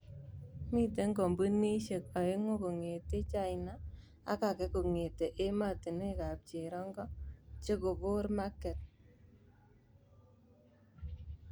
Mite kampunidiek aengu kongete China ak ake kongete ematunwek ab cherongo chekobor maket.